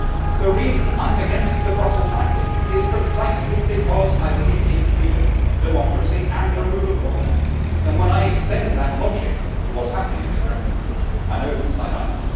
The reason I am against the Brussels racket is precisely because I believe in freedom, democracy and the rule of law, and when I extend that logic to what is happening in the Kremlin, I know whose side I am on.